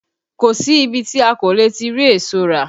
Kò sí ibi tí a kò ti le rí èso rà